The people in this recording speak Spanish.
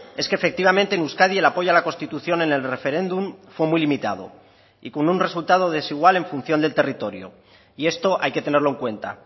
es que efectivamente en euskadi el apoyo a la constitución en el referéndum fue muy limitado y con un resultado desigual en función del territorio y esto hay que tenerlo en cuenta